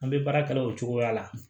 An bɛ baara kɛ o cogoya la